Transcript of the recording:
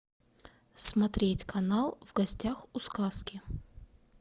смотреть канал в гостях у сказки